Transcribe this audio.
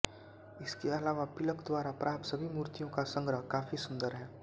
इसके अलावा पिलक द्वारा प्राप्त सभी मूर्तियों का संग्रह काफी सुंदर है